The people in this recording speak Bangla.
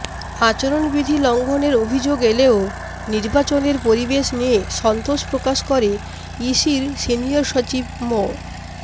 আচরণবিধি লঙ্ঘনের অভিযোগ এলেও নির্বাচনের পরিবেশ নিয়ে সন্তোষ প্রকাশ করে ইসির সিনিয়র সচিব মো